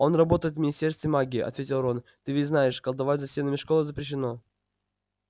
он работает в министерстве магии ответил рон ты ведь знаешь колдовать за стенами школы запрещено